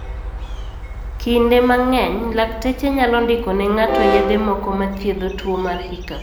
Kinde mang'eny, lakteche nyalo ndiko ne ng'ato yedhe moko ma thiedho tuwo mar hiccup.